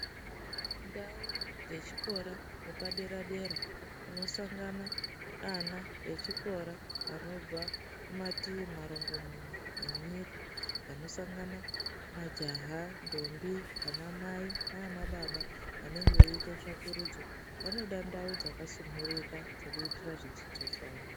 Ndau dze chikora yepa dera dera kunosangana ana echikora anobva ku mativi marungumuna enyika vano sangana majaha ndombi ana mai nana baba vanenge veite tsvakurudzo vanoda ndau dzaka sunhurika dzekuitira zvidzidzo zvawo.